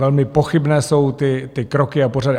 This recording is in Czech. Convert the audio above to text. Velmi pochybné jsou ty kroky a pořady.